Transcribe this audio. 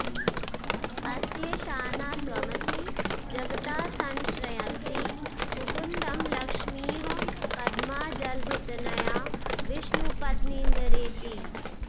अस्येशाना त्वमसि जगतः संश्रयन्ती मुकुन्दं लक्ष्मीः पद्मा जलधितनया विष्णुपत्नीन्दिरेति